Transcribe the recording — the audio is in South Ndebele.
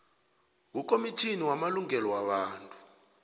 kukhomitjhini yamalungelo wabantu